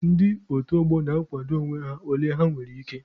Ndị otu ọgbọ na-akwado onwe ha ole ha nwere ike.